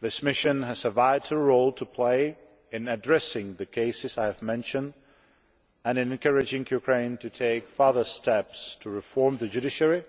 This mission has a vital role to play in addressing the cases I have mentioned and in encouraging Ukraine to take further steps to reform the judiciary